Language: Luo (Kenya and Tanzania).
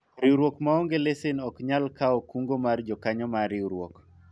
riwruok maonge lesen ok nyal kawo kungo mag jokanyo mar riwruok